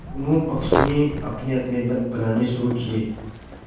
दोनों पक्षों ने अपनेअपने दल बनाने शुरू किये